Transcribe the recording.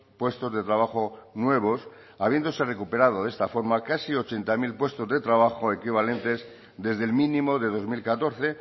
puestos de trabajo nuevos habiéndose recuperado de esta forma casi ochenta mil puestos de trabajo equivalentes desde el mínimo de dos mil catorce